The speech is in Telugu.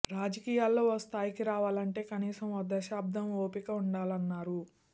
రాజకీయాల్లో ఓ స్థాయికి రావాలంటే కనీసం ఓ దశాబ్దం ఓపిక ఉండాలన్నారు